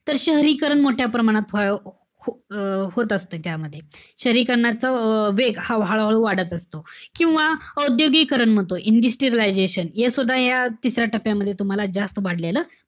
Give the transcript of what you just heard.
तर शहरीकरण मोठ्या प्रमाणात व्ह~ अं होत असत त्याच्यामध्ये. शहरीकरणाच वेग हा हळूहळू वाढत असतो. किंवा औद्योगिकरण म्हणतो. Industrialization हे सुद्धा या तिसऱ्या टप्प्यामध्ये तुम्हाला जास्त वाढलेलं,